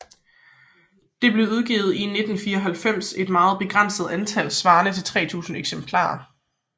Det blev udgivet i 1994 i et meget begrænset antal svarende til 3000 eksemplarer